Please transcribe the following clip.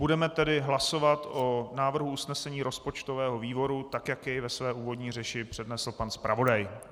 Budeme tedy hlasovat o návrhu usnesení rozpočtového výboru tak, jak jej ve své úvodní řeči přednesl pan zpravodaj.